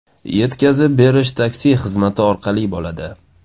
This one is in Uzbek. Yetkazib berish taksi xizmati orqali bo‘ladi.